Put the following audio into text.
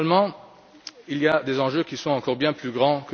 Finalement, il y a des enjeux qui sont encore bien plus grands.